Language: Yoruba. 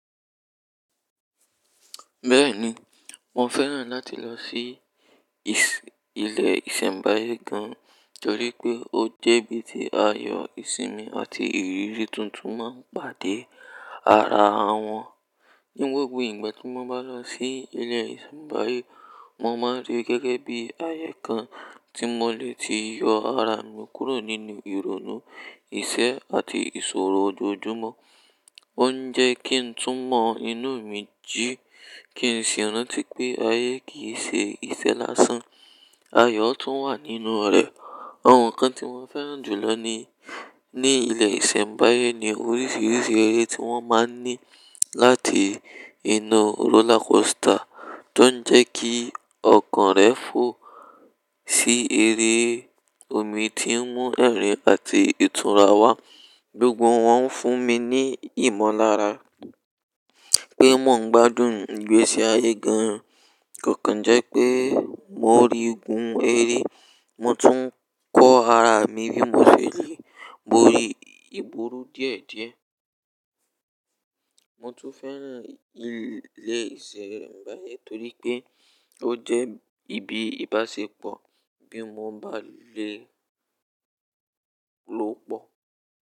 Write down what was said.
Bẹ́ẹ̀ni, mo fẹ́ràn láti lọ sí iṣẹ́ ilé ìṣẹ̀mbáyé gan torí pé ó jẹ́ ibi tí ayọ̀ ìsinmi àti ìrírí tuntun máa ń pàdé ara wọn. Ní gbogbo ìgbà tí mo bá lọ sí ilé ìṣẹ̀mbáyé, mo máa rí gẹ́gẹ́ bí ayé kan tí mo lè ti yọ ara mi kúrò nínú ìrònú, ìṣẹ́ àti ìṣòro ojoojúmọ́. Ó ń jẹ́ kí n tún mọ inú mi jí, kí n sì rántí pé ayé kì í ṣe ìṣẹ̀ lásán. Ayọ̀ tún wà nínú rẹ̀. Àwon nkan tí mo fẹ́ràn jùlọ ní, ní ilé ìṣẹ̀mbáyé ni oríṣiríṣi eré tí wọ́n máa ń ní láti inú roller coaster, tó ń jẹ́ kí ọkàn rẹ fò sí eré. Omi tí ń mú ẹ̀rín àti ìtura wá. Gbogbo wọn ń fún mi ní ìmọ̀lára pé mò ń gbádùn ìgbésí ayé gan-an. Kó kan jẹ́ pé mo rí gun eré, mo tún kó ara mi bí mo ṣe lè. Mo rí ìgburu díẹ̀díẹ̀. Mo tún fẹ́ràn ilé ìṣẹ̀mbáyé torí pé ó jẹ́ ibi ìbáṣepọ̀ bí mo bá lè lò pọ̀.